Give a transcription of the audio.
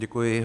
Děkuji.